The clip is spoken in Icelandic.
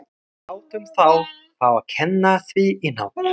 Við látum þá fá að kenna á því í nótt.